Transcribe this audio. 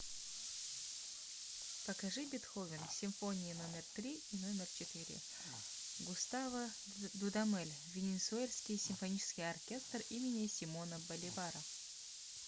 покажи бетховен симфония номер три и номер четыре густаво дудамель венесуэльский симфонический оркестр имени симона боливара